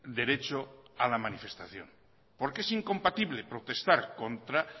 derecho a la manifestación porque es incompatible protestar contra